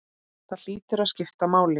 Það hlýtur að skipta máli?